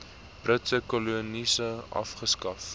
britse kolonies afgeskaf